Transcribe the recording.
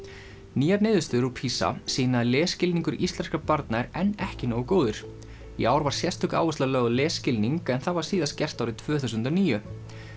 nýjar niðurstöður úr PISA sýna að lesskilningur íslenskra barna er enn ekki nógu góður í ár var sérstök áhersla lögð á lesskilning en það var síðast gert árið tvö þúsund og níu